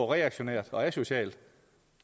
reaktionært og asocialt